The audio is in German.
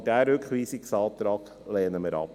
Aber diesen Rückweisungsantrag lehnen wir ab.